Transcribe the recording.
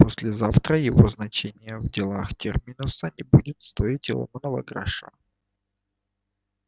послезавтра его значение в делах терминуса не будет стоить и ломаного гроша